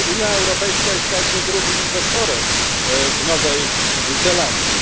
Unia Europejska jest także drugim inwestorem w Nowej Zelandii.